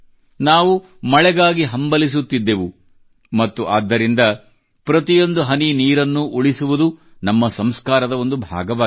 ನಾವು ಮಳೆಗಾಗಿ ಹಂಬಲಿಸುತ್ತಿದ್ದೆವು ಮತ್ತು ಆದ್ದರಿಂದ ಪ್ರತಿಯೊಂದು ಹನಿ ನೀರನ್ನೂ ಉಳಿಸುವುದು ನಮ್ಮ ಸಂಸ್ಕಾರದ ಒಂದು ಭಾಗವಾಗಿದೆ